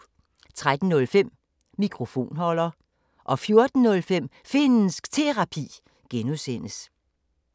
13:05: Mikrofonholder 14:05: Finnsk Terapi (G)